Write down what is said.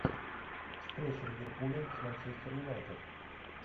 встреча ливерпуля с манчестер юнайтед